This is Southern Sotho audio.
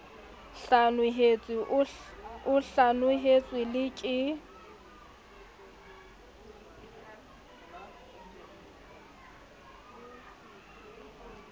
hlanohetswe o hlanohetswe le ke